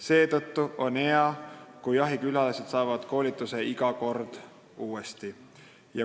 Seetõttu on hea, kui jahikülalised saavad koolituse iga kord uuesti.